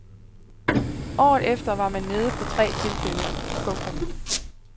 Året efter var man nede på tre tilfælde. punktum